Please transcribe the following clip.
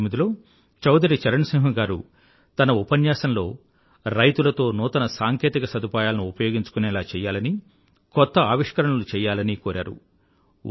1979లో చౌధరీ చరణ సింహ్ గారు తన ఉపన్యాసంలో రైతులతో నూతన సాంకేతిక సదుపాయాలను ఉపయోగించుకునేలా చెయ్యాలనీ కొత్త ఆవిష్కరణలు చెయ్యాలనీ కోరారు